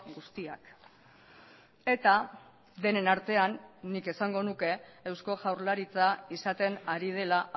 guztiak eta denen artean nik esango nuke eusko jaurlaritza izaten ari dela